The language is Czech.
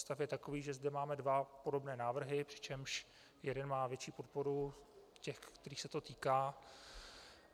Stav je takový, že zde máme dva podobné návrhy, přičemž jeden má větší podporu těch, kterých se to týká.